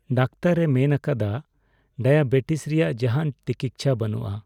ᱫᱟᱠᱛᱟᱨᱼᱮ ᱢᱮᱱ ᱟᱠᱟᱫᱟ ᱰᱟᱭᱟᱵᱮᱴᱤᱥ ᱨᱮᱭᱟᱜ ᱡᱟᱦᱟᱱ ᱴᱤᱠᱤᱪᱪᱷᱟ ᱵᱟᱹᱱᱩᱜᱼᱟ ᱾